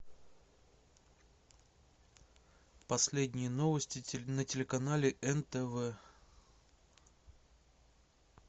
последние новости на телеканале нтв